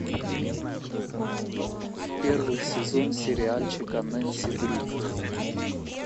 первый сезон сериальчика нэнси дрю